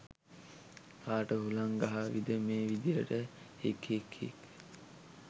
කාට හුලං ගහවිද මේ විදියට හික්හික්හික්.